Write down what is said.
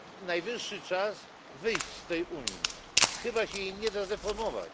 Najwyższy czas wyjść z tej Unii, chyba się jej nie da zreformować.